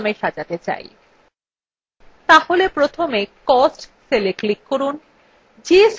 তাহলে প্রথমে cost cellwe click করুন যে সেলগুলো সাজাতে হবে সেগুলি উজ্জ্বল করে so